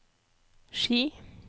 Ski